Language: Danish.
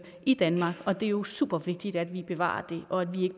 i danmark og det er jo super vigtigt at vi bevarer det og at vi